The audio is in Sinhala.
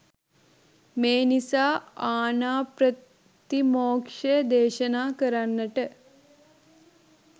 මේ නිසා ආණාප්‍රතිමෝක්ෂය දේශනා කරන්නට